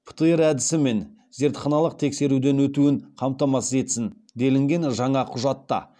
птр әдісімен зертханалық тексеруден өтуін қамтамасыз етсін делінген жаңа құжатта